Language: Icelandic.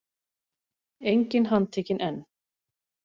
Enginn handtekinn enn